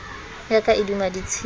ya ka e duma ditshepe